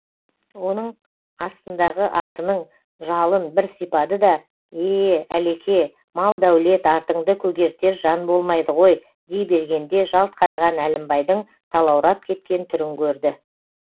оның астындағы атының жалын бір сипады да ее әлеке мал дәулет артыңды көгертер жан болмайды ғой дей бергенде жалт қараған әлімбайдың талаурап кеткен түрін көрді